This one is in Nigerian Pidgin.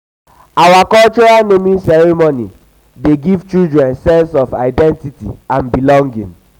our cultural naming custom dey give children sense of sense of identity and belonging.